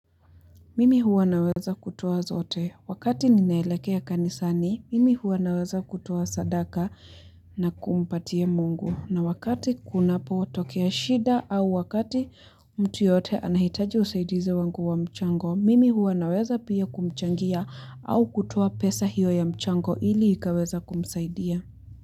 Mimi huwa naweza kutoa zote, wakati ninaelekea kanisani, mimi huwa naweza kutoa sadaka na kumpatia mungu, na wakati kunapo tokea shida au wakati mtu yeyote anahitaji usaidizi wangu wa mchango, mimi huwa naweza pia kumchangia au kutoa pesa hiyo ya mchango ili ikaweza kumsaidia.